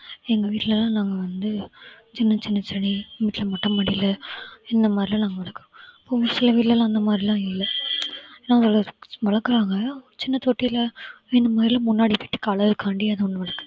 எங்க வீட்ல எல்லாம் நாங்க வந்து சின்ன சின்ன செடி வீட்ல மொட்டை மாடியில இந்த மாதிரியெல்லாம் நாங்க வளர்க்கிறோம் ஒரு சில வீட்டுல எல்லாம் அந்த மாதிரியெல்லாம் இல்ல வளர்~ வளர்க்கறாங்க சின்ன தொட்டியில முன்னாடி விட்டு அழகுக்காண்டி அது ஒண்ணு